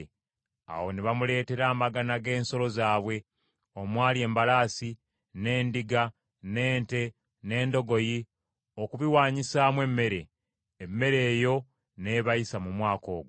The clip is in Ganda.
Awo ne bamuleetera amagana g’ensolo zaabwe, omwali embalaasi, n’endiga, n’ente, n’endogoyi, okubiwaanyisaamu emmere; emmere eyo n’ebayisa mu mwaka ogwo.